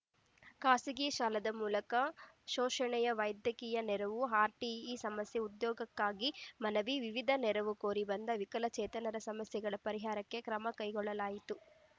ಖಾಸಗಿ ಸಾಲದ ಮೂಲಕ ಶೋಷಣೆ ವೈದ್ಯಕೀಯ ನೆರವು ಆರ್‌ಟಿಇ ಸಮಸ್ಯೆ ಉದ್ಯೋಗಕ್ಕಾಗಿ ಮನವಿ ವಿವಿಧ ನೆರವು ಕೋರಿ ಬಂದ ವಿಕಲಚೇತನರ ಸಮಸ್ಯೆಗಳ ಪರಿಹಾರಕ್ಕೆ ಕ್ರಮ ಕೈಗೊಳ್ಳಲಾಯಿತು